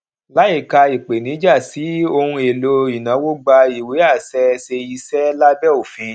láìka ìpèníjà sí ohun èlò ìnáwó gba ìwé àṣẹ ṣe iṣẹ lábẹ òfin